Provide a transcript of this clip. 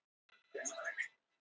En þó fæstar tengdar aðstæðunum.